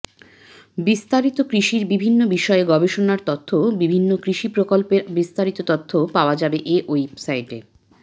বিস্তারিত কৃষির বিভিন্ন বিষয়ে গবেষণার তথ্যও বিভিন্ন কৃষি প্রকল্পের বিস্তারিত তথ্যও পাওয়া যাবে এ ওয়েবসাইটে